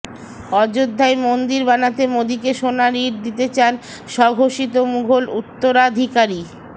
অযোধ্যায় মন্দির বানাতে মোদীকে সোনার ইট দিতে চান স্বঘোষিত মুঘল উত্তরাধিকারী